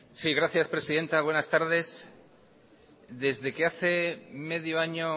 sí gracias presidenta buenas tardes desde que hace medio año